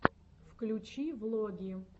включи влоги